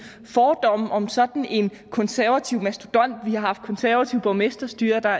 fordom om sådan en konservativ mastodont vi har haft konservativt borgmesterstyre der